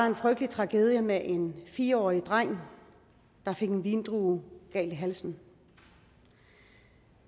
en frygtelig tragedie med en fire årig dreng der fik en vindrue galt i halsen